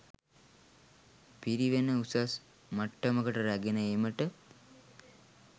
පිරිවෙන උසස් මට්ටමකට රැගෙන ඒමට